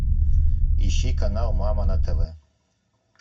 ищи канал мама на тв